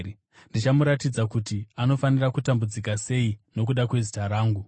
Ndichamuratidza kuti anofanira kutambudzika sei nokuda kwezita rangu.”